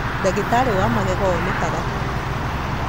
Ndagĩtarĩ wa magego onekaga kũ?